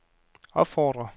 opfordrer